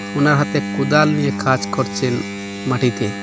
ওনার হাতে কোদাল নিয়ে কাজ করছেন মাটিতে।